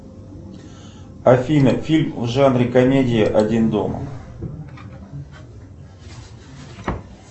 афина фильм в жанре комедия один дома